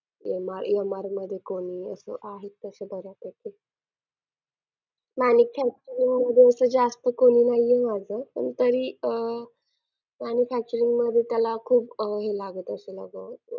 MR MR मध्ये कोणी असं आहेत तसे बऱ्यापैकी. आणि manufacturing मध्ये असं जास्त कोणी नाही आहे माझं पण तरी अह manufacturing मध्ये त्याला खूप अह हे लागत असेल ना गं अह